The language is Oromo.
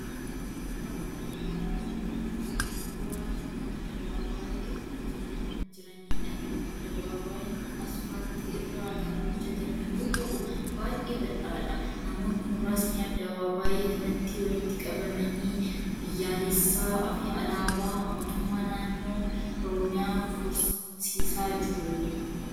Suura kana irratti kan argaa jirru kun, suura addabaabaayii irra jiraniidha. Addabaabaayiin kun asfaaltii irraa kan hojjatame yoo ta'u, baay'ee bal'aadha. Namoonni muraasni addabaabaayii kanatti walitti qabamanii biyyaalessaa fi alaabaa mootummaa naannoo Oromiyaa korsiisaa jiru.